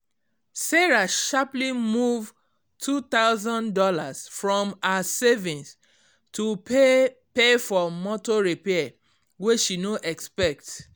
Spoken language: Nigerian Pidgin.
sarah sharply move two thousand dollars from her savings to pay pay for motor repair way she no expect